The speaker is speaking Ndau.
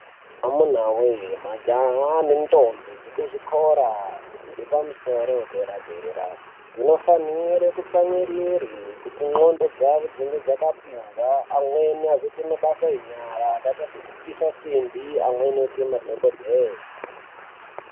Amuna we majaha nendombi dzekuzvikora dzepamusoro yedera dera dzinofanira kutsamwirire kuti ngonxo dzawo dzinge dzakapinza amweni azoita mabasa enyara akaita sekupisa simbi amweni oita madhokodheya.